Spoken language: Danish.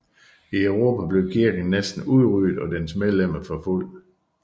I Europa blev kirken næsten udryddet og dens medlemmer forfulgt